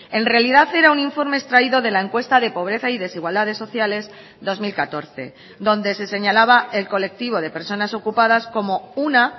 en realidad era un informe extraído de la encuesta de pobreza y desigualdades sociales dos mil catorce donde se señalaba el colectivo de personas ocupadas como una